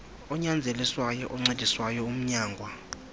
onyanzeliswayo oncediswayo umnyangwa